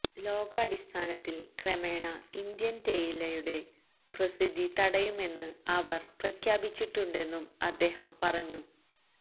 ലോകാടിസ്ഥാനത്തില് ക്രമേണ ഇന്ത്യന് തേയിലുടെ പ്രസിദ്ധി തടയുമെന്ന് അവര് പ്രഖ്യാപിച്ചിട്ടുണ്ടെന്നും അദ്ദേഹം പറഞ്ഞു